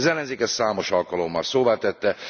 Az ellenzék ezt számos alkalommal szóvá tette.